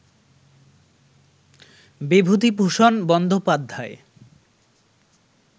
Bibhutibhushan Bandyopadhyay